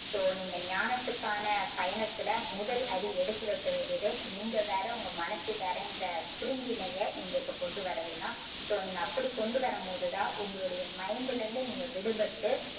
so நீங்க ஞானத்துக்கான பயணத்தில முதல் அடி எடுத்து வைக்க வேண்டியது நீங்க வேற உங்க மனசு வேறென்ற பிரிவினையை நீங்க இப்போ கொண்டு வர்றது தான். so நீங்க அப்படி கொண்டு வரும்போது தான் உங்களுடைய mind லருந்து நீங்க விடுபட்டு